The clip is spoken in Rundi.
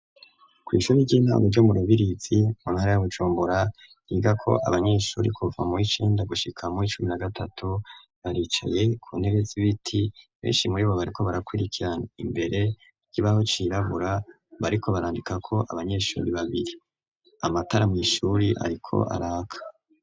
Kw' ishuri ry'intango ryo murubirizi mu ntara y'a Bujumbura higako abanyeshure kuva muy’icenda gushika muw’icumi na gatatu baricaye ku ntebe z’ibiti, benshi muri bo bariko barakwirikira, imbere ikibaho cirabura bariko barandikako abanyeshuri babiri, amatara mw’ishure ariko araka.